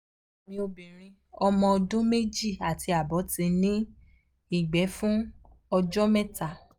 ọmọ mi obinrin omo ọdún meji ati abo ti ní ìgbẹ́ fún ọjọ́ mẹ́ta